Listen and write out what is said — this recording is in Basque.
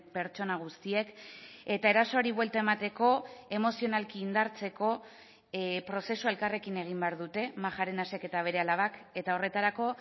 pertsona guztiek eta erasoari buelta emateko emozionalki indartzeko prozesua elkarrekin egin behar dute majarenasek eta bere alabak eta horretarako